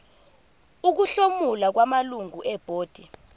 ukuhlomula kwamalungu ebhodi